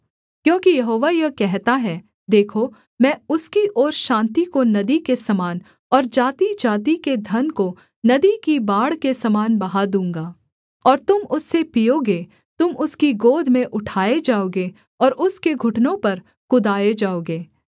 क्योंकि यहोवा यह कहता है देखो मैं उसकी ओर शान्ति को नदी के समान और जातिजाति के धन को नदी की बाढ़ के समान बहा दूँगा और तुम उससे पीओगे तुम उसकी गोद में उठाए जाओगे और उसके घुटनों पर कुदाए जाओगे